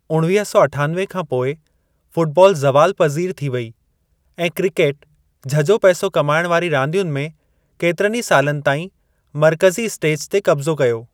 उणिवीह सौ अठानवे खां पोइ फ़ुटबॉल ज़वाल पज़ीर थी वई ऐं क्रिकेट झझो पैसो कमाइण वारी रांदियुनि में केतिरनि ई सालनि ताईं मर्कज़ी स्टेज ते क़ब्ज़ो कयो ।